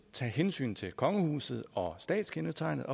tage hensyn til kongehuset og statskendetegnet